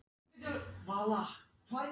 Alda yngri er lifandi eftirmynd móður sinnar.